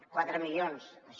quatre milions això